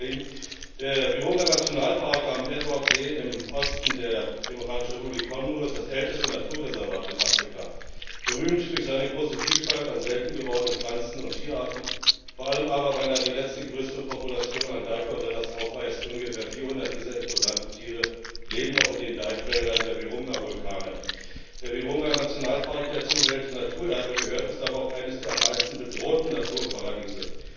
Liebe Kolleginnen und Kollegen! Der Virunga Nationalpark am Edwardsee, im Osten der demokratischen Republik Kongo, ist das älteste Naturreservat in Afrika. Berühmt durch seine große Vielfalt an selten gewordenen Pflanzen und Tierarten, vor allem aber, weil er die letzte größere Population an Berggorillas aufweist. Ungefähr 400 dieser imposanten Tiere leben noch in den Bergwäldern der Virunga Vulkane. Der Virunga-Nationalpark, der zum Weltnaturerbe gehört, ist aber auch eines der am meisten bedrohten Naturparadiese.